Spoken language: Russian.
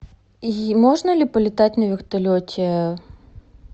можно ли полетать на вертолете